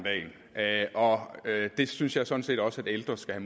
dagen og det synes jeg sådan set også ældre skal